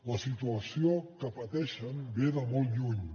la situació que pateixen ve de molt lluny